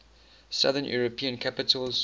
southern european capitals